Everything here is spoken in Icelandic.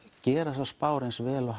gera þessar spár eins vel og